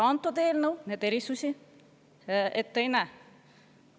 See eelnõu neid erisusi ette ei näe.